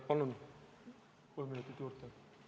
Palun kolm minutit juurde!